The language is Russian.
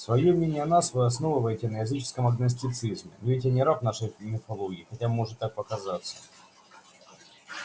своё мнение о нас вы основываете на языческом агностицизме но ведь я не раб нашей мифологии хотя может так показаться